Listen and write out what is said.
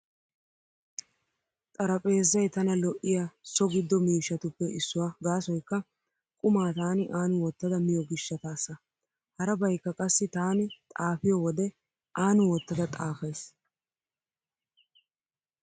Xarapheezzay tana lo'iyaa so giddo mishshatuppe issuwaa gaasoykka qumaa taani aani wottada miyo gishshataassa. Harabaykka qassi taani xaafiyo wode aani wottada xaafays.